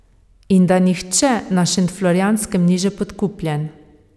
In da nihče na Šentflorjanskem ni že podkupljen.